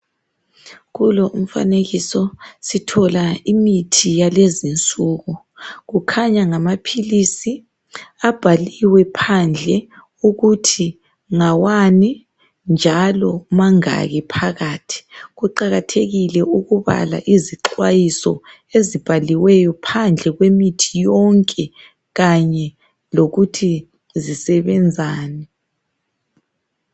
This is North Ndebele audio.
Kulo umfanekiso sithola imithi yalezinsuku kukhanya ngamaphilisi abhaliwe phandle ukuthi ngawani njalo mangaki phakathi. Kuqakathekile ukubala izixwayiso ezibhaliweyo phandle kwemithi yonke kanye lokuthi zisebenzani.